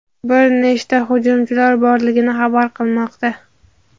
bir nechta hujumchilar borligini xabar qilmoqda.